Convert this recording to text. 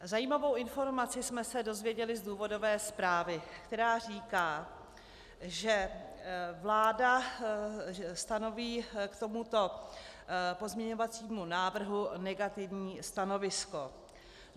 Zajímavou informaci jsme se dozvěděli z důvodové zprávy, která říká, že vláda stanoví k tomuto pozměňovacímu návrhu negativní stanovisko.